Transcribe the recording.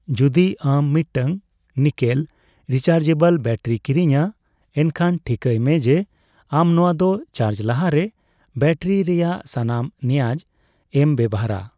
ᱡᱩᱫᱤ ᱟᱢ ᱢᱤᱫᱴᱟᱝ ᱱᱤᱠᱮᱞ ᱨᱤᱪᱮᱡᱵᱚᱞ ᱵᱮᱴᱟᱨᱤ ᱠᱤᱨᱤᱧᱟ ᱮᱱᱠᱷᱟᱱ ᱴᱷᱤᱠᱟᱹᱭ ᱢᱮ ᱡᱮ ᱟᱢ ᱱᱚᱣᱟ ᱫᱚ ᱪᱟᱡ ᱞᱟᱦᱟᱨᱮ ᱵᱮᱴᱟᱨᱤ ᱨᱮᱭᱟᱜ ᱥᱟᱱᱟᱢ ᱱᱮᱭᱟᱫ ᱮᱢ ᱵᱮᱵᱷᱟᱨᱟ ᱾